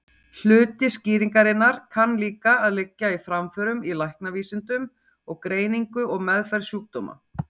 Hluti skýringarinnar kann líka að liggja í framförum í læknavísindum og greiningu og meðferð sjúkdóma.